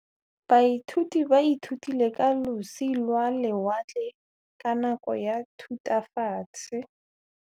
Baithuti ba ithutile ka losi lwa lewatle ka nako ya Thutafatshe.